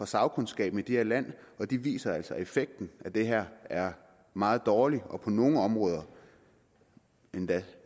sagkundskaben i dette land og de viser altså at effekten af det her er meget dårlig og på nogle områder endda